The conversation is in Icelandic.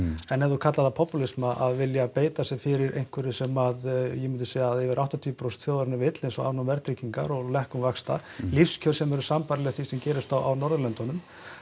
en ef þú kallar það popúlisma að vilja beita sér fyrir einhverju sem yfir áttatíu prósent þjóðarinnar vill eins og afnám verðtryggingar og lækkun vaxta lífskjör sem eru sambærileg því sem gerist á Norðurlöndunum